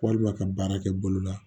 Walima ka baara kɛ bolo la